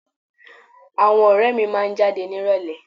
Àwọn ọ̀rẹ́ mi máa jáde nírọ̀lẹ́